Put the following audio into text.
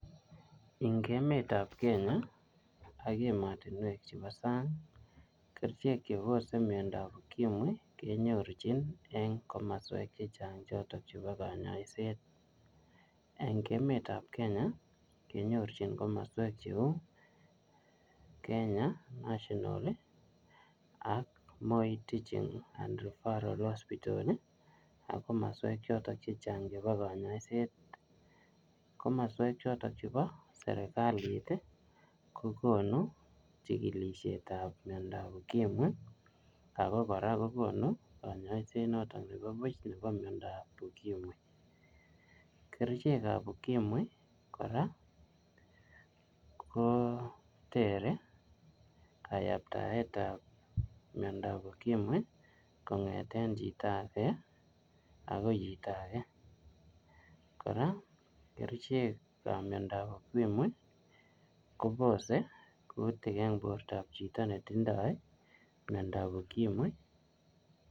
Eng emetab Kenya, ak emotunwek chebo sang, kerichek chebose miondab ukimwi, kenyorchin eng komaswek chechang' chotok chebo kanyaiset. Eng emetab Kenya, kenyorchin komaswek cheuu Kenya National ak Moi Teaching and Referral Hospital, ak komaswek chotok chechang' chebo kanyaiset. Komaswek chotok chebo serikalit, kokonu chikilishetab miondab ukimwi, ako kora kokonu kanyaiset notok nebo buch nebo miondab ukimwi. Kerichek ap ukimwi kora, kotere kayaptaet ap miondab ukimwi, kongeten chito age agoi chito age. Kora, kerichek ap miandob ukimwi, kobose kutik eng portop chito netindoi miondab ukimwi